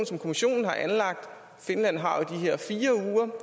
som kommissionen har anlagt i finland har her fire uger